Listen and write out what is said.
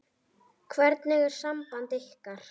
Hvernig er samband ykkar?